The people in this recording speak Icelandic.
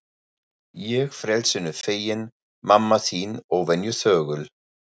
Ég frelsinu feginn, mamma þín óvenju þögul.